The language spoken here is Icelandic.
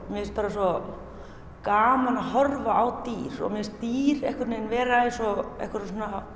mér finnst svo gaman að horfa á dýr og mér finnst dýr vera eins og einhverjar